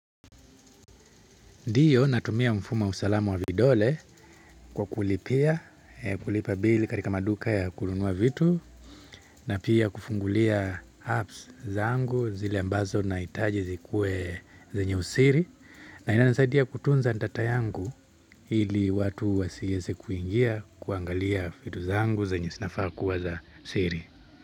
Ndio natumia mfumo usalamu wa vidole kwa kulipia, kulipa bill katika maduka ya kununua vitu na pia kufungulia apps zangu zile ambazo nahitaji zikuwe zenye usiri na inaninasaidia kutunza data yangu ili watu wasiweze kuingia kuangalia vitu zangu zenye zinafaa kuwa za siri.